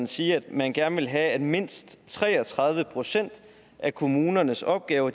sige at man gerne ville have at mindst tre og tredive procent af kommunernes opgaver